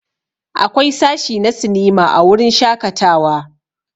Akwai sashi na sinima a wurin shakatawa.